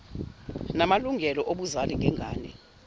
namalungelo obuzali ngengane